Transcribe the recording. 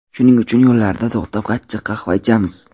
Shuning uchun yo‘llarda to‘xtab achchiq qahva ichamiz.